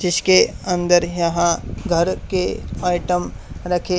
जिसके अंदर यहां घर के आइटम रखे--